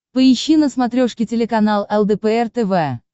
поищи на смотрешке телеканал лдпр тв